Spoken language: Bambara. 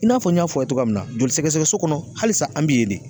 I n'a fɔ n y'a fɔ aw ye togoya min na, joli sɛgɛsɛgɛ so kɔnɔ hali sa an bi ye de.